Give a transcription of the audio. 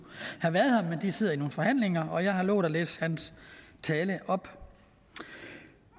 have været her men han sider i nogle forhandlinger så jeg har lovet at læse hans tale op